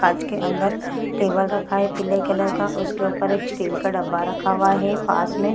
कांच के अंदर टेबल रखा है पीले कलर का | उसके ऊपर एक स्टील का डब्बा रखा हुआ है । पास मे --